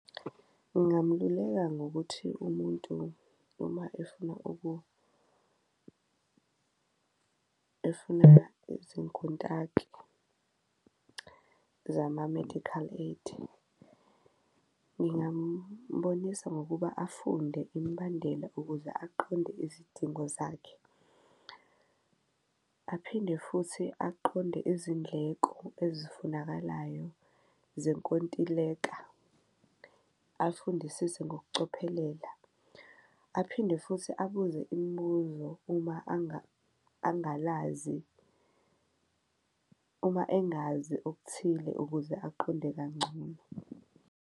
Ngingamululeka ngokuthi umuntu uma efuna efuna izinkontaki zama-medical aid, ngingambonisa ngokuba afunde imbandela ukuze aqonde izidingo zakhe, aphinde futhi aqonde izindleko ezifunakalayo zenkontileka, afundisise ngokucophelela. Aphinde futhi abuze imibuzo uma angalazi, uma engazi okuthile, ukuze aqonde kangcono.